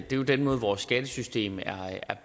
det er jo den måde vores skattesystem er